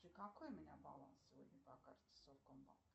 какой у меня баланс сегодня по карте совкомбанк